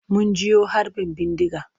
Mun jiyo harbin bindiga.